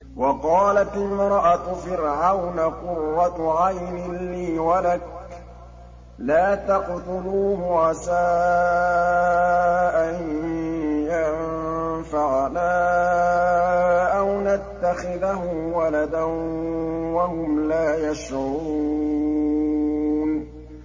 وَقَالَتِ امْرَأَتُ فِرْعَوْنَ قُرَّتُ عَيْنٍ لِّي وَلَكَ ۖ لَا تَقْتُلُوهُ عَسَىٰ أَن يَنفَعَنَا أَوْ نَتَّخِذَهُ وَلَدًا وَهُمْ لَا يَشْعُرُونَ